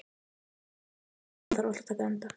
Finna, einhvern tímann þarf allt að taka enda.